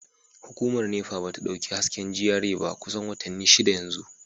Hukumar NEPA ba ta dauki hasken GRA ba kusan watanni shida yanzu